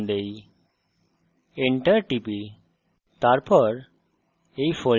এটিকে demo name দেই enter টিপি